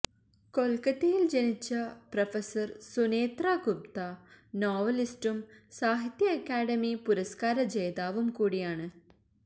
കൊല്ക്കത്തയില് ജനിച്ച പ്രഫസര് സുനേത്ര ഗുപ്ത നോവലിസ്റ്റും സാഹിത്യ അക്കാദമി പുരസ്ക്കാര ജേതാവും കൂടിയാണ്